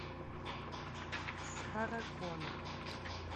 сара коннор